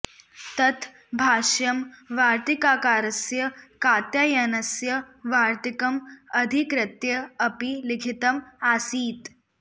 तत् भाष्यं वार्तिककारस्य कात्यायनस्य वार्तिकम् अधिकृत्य अपि लिखितम् आसीत्